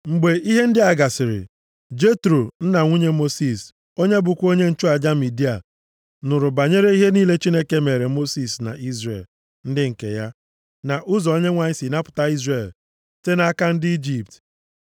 Mgbe ihe ndị a gasịrị, Jetro, nna nwunye Mosis, onye bụkwa onye nchụaja Midia, nụrụ banyere ihe niile Chineke meere Mosis na Izrel ndị nke ya, na ụzọ Onyenwe anyị si napụta Izrel site nʼaka ndị Ijipt.